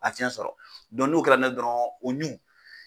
fiɲɛ sɔrɔ n'o kɛra dɔrɔn o ɲu